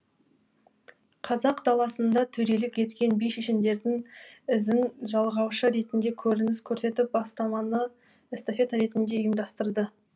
қазақ даласында төрелік еткен би шешендердің ізін жалғаушы ретінде көрініс көрсетіп бастаманы эстафета ретінде ұйымдастырды